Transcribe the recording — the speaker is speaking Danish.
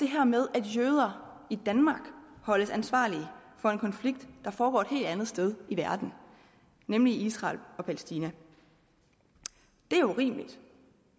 at jøder i danmark holdes ansvarlige for en konflikt der foregår et helt andet sted i verden nemlig i israel og palæstina det er urimeligt